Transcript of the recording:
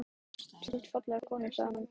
Þú átt fallega konu sagði hann.